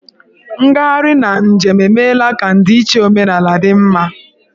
Ngagharị na njem emeela ka ndịiche omenala dị mma.